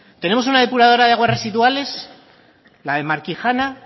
tenemos una depuradora de aguas residuales la de markijana